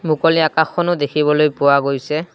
মুকলি আকাশখনো দেখিবলৈ পোৱা গৈছে।